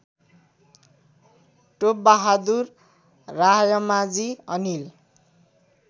Top Bahadur Raimajhi Anil